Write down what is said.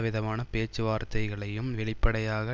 விதமான பேச்சுவார்த்தைகளையும் வெளிப்படையாக